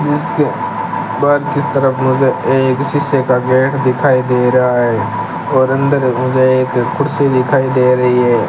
इसके बाहर की तरफ मुझे एक शीशे का गेट दिखाई दे रहा है और अंदर मुझे एक कुर्सी दिखाई दे रही है।